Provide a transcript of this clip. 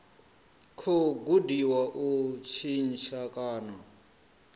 khou gudiwa u tshintsha kana